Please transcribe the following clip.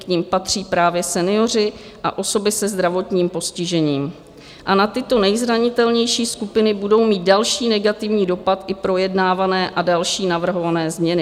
K nim patří právě senioři a osoby se zdravotním postižením a na tyto nejzranitelnější skupiny budou mít další negativní dopad i projednávané a další navrhované změny.